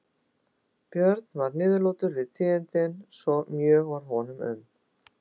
Björn varð niðurlútur við tíðindin svo mjög varð honum um.